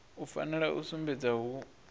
u fanela u sumbedza hu